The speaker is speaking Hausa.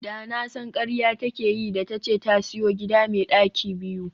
Da na san karya take yi da tace ta siyo gida me daki biyu